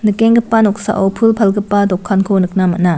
nikenggipa noksao pul palgipa dokanko nikna man·a.